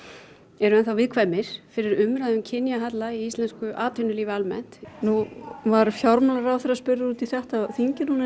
eru viðkvæmir fyrir umræðu um kynjahalla í íslensku atvinnulífi almennt nú var fjármálaráðherra spurður út í þetta á þingi